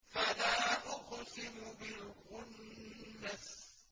فَلَا أُقْسِمُ بِالْخُنَّسِ